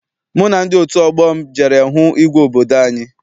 Mụ na ndị otu ọgbọ m jere hụ igwe obodo anyị.